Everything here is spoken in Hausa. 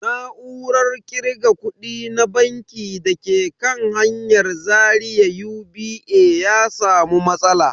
Na'urar kirga kudi na banki da ke kan hanyar Zaria UBA ya samu matsala.